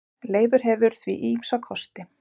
Leifur hefur því ýmsa kosti.